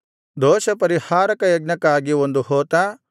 ದೋಷಪರಿಹಾರಕ ಯಜ್ಞಕ್ಕಾಗಿ ಒಂದು ಹೋತ